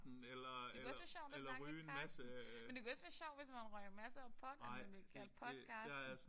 Det kunne også være sjovt at snakke med Carsten men det kunne også være sjovt hvis man røg masser af pot at man blev kaldt podcasten